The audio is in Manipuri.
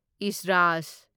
ꯏꯁꯔꯥꯖ